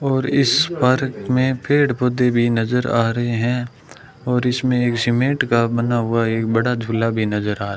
और इस पार्क में पेड़ पौधे भी नजर आ रहे हैं और इसमें एक सीमेंट का बना हुआ एक बड़ा झूला भी नजर आ --